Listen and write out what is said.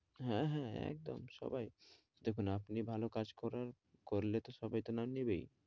হ্যাঁ, হ্যাঁ একদম সবাই, দেখুন আপনি ভালো কাজ করান করলে তো সবাই তো নাম নেবেই,